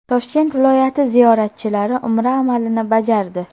Toshkent viloyati ziyoratchilari umra amalini bajardi.